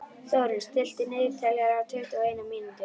Þórunn, stilltu niðurteljara á tuttugu og eina mínútur.